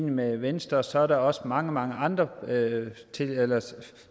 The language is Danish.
med venstre så er der også mange mange andre